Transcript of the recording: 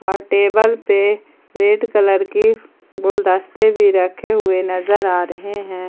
Table पे red colour की गुलदस्ते भी रखे हुए नजर आ रहे हैं।